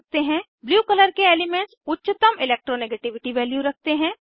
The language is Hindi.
ब्लू कलर के एलीमेन्ट्स उच्चतम इलेक्ट्रोनेगेटिविटी वैल्यू रखते हैं